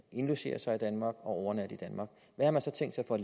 indlogere sig i danmark og overnatte i danmark hvad har man så tænkt sig at